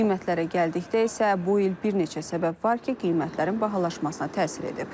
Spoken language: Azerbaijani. Qiymətlərə gəldikdə isə, bu il bir neçə səbəb var ki, qiymətlərin bahalaşmasına təsir edib.